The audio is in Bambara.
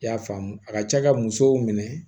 I y'a faamu a ka ca ka musow minɛ